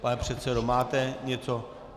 Pane předsedo, máte něco?